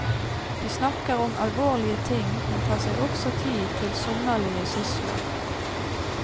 De snakker om alvorlige ting, men tar seg også tid til sommerlige sysler.